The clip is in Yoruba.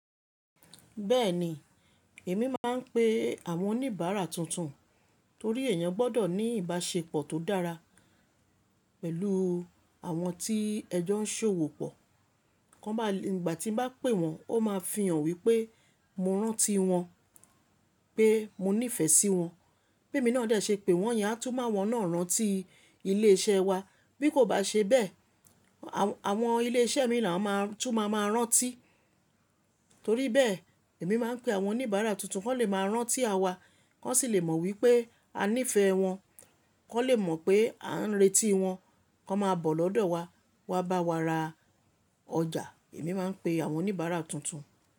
Bẹ́ẹ̀ni, èmi máa ń pe àwọn oníbàárà tuntun torí èèyàn gbọ́dọ̀ ní ìbáṣepọ̀ tó dára pẹ̀lú àwọn tí ẹjọ́ ń ṣòwò pọ̀. Kan báa ìgbà tí n bá pè wọ́n, ó máa fi hàn wípé mo rántí wọn pé mo nífẹ̀ẹ́ sí wọn bé'mi náà dè ṣe pè wọ́n, yẹn á tún mú àwọn náà rántíi ilé iṣẹ́ wa. Bí kò bá ṣe bẹ́ẹ̀, àwọn ilé iṣẹ́ míìn làwọn máa tún máa ma rántí. Torí bẹ́ẹ̀, èmi máa ń pe àwọn oníbàárà tuntun, kọ́n lè máa rántí à wa, kọ́n sì lè mọ̀ wípé a nífẹ̀ẹ́ wọn, kọ́n lè mọ̀ pé à ń retíi wọ́n, kọ́n máa bọ̀ lọ́dọ̀ wa wá bá wa ra ọjà. Èmi máa ń pe àwọn oníbàárà tuntun.